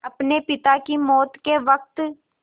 अपने पिता की मौत के वक़्त